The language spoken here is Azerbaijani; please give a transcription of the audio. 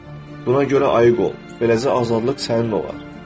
Buna görə ayıq ol, beləcə azadlıq sənin olar.